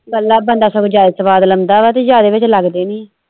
ਇੱਕਲਾ ਬੰਦਾ ਸਗੋਂ ਜਿਆਦੇ ਸੁਆਦ ਲੋਂਦਾ ਵਾ ਤੇ ਤੇ ਜਿਆਦੇ ਵਿਚ ਲੱਗਦੇ ਨਹੀਂ ਆ।